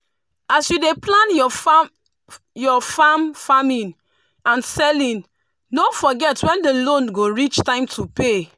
as you dey plan your your farming and selling no forget when the loan go reach time to pay.